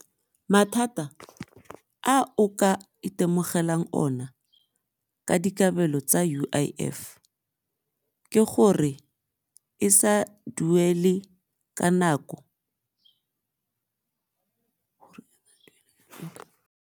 Mathata a o ka itemogelang ona ka dikabelo tsa U_I_F ke gore e sa duele ka nako.